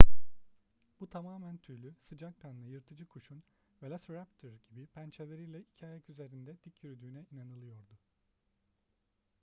bu tamamen tüylü sıcakkanlı yırtıcı kuşun velociraptor gibi pençeleriyle iki ayak üzerinde dik yürüdüğüne inanılıyordu